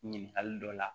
Ɲininkali dɔ la